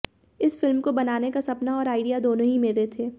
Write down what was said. इस फिल्म को बनाने का सपना और आइडिया दोनों ही मेरे थे